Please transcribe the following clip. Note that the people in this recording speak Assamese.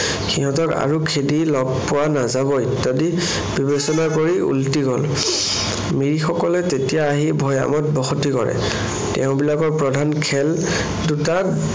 সিহঁতক আৰু খেদি লগ পোৱা নাযাব ইত্যাদি বিবেচনা কৰি উলটি গল। মিৰিসকলে তেতিয়া আহি ভৈয়ামত বসতি কৰে। তেওঁবিলাকৰ প্ৰধান খেল দুটা।